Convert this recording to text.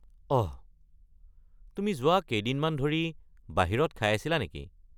অহ, তুমি যোৱা কেইদিনমান ধৰি বাহিৰত খাই আছিলা নেকি?